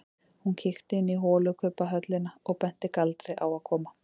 Hún kíkti inn í holukubbhöllina og benti Galdri að koma.